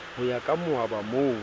ho ya ka mooba mo